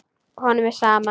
Honum er sama.